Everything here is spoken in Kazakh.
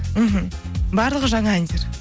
мхм барлығы жаңа әндер